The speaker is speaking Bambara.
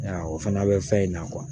Aa o fana bɛ fɛn in na